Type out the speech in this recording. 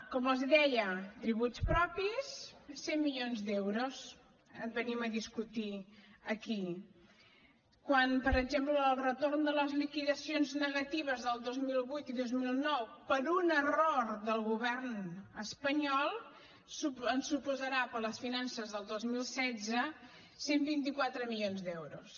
com els deia tributs propis cent milions d’euros venim a discutir aquí quan per exemple el retorn de les liquidacions negatives del dos mil vuit i dos mil nou per un error del govern espanyol ens suposarà per a les finances del dos mil setze cent i vint quatre milions d’euros